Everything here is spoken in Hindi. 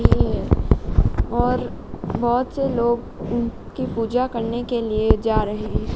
ये और बहोत से लोग इनकी पूजा करने जा रहे हैं।